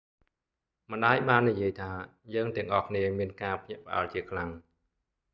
"ម្តាយបាននិយាយថា យើងទាំងអស់គ្នាមានការភ្ញាក់ផ្អើលជាខ្លាំង។